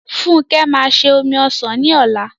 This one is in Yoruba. Funke máa se omi ọsàn ní ọ̀la m